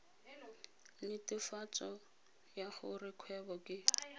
netefatso ya gore kgwebo ke